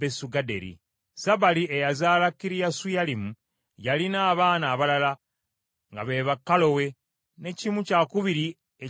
Sabali eyazaala Kiriyasuyalimu, yalina abaana abalala nga be ba Kalowe, ne kimu kyakubiri eky’Abamenukosi,